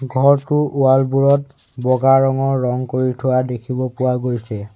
ঘৰটোৰ ৱাল বোৰত বগা ৰঙৰ ৰং কৰি থোৱা দেখিব পোৱা গৈছে।